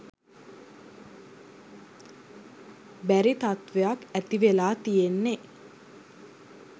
බැරි තත්වයක් ඇති වෙලා තියෙන්නෙ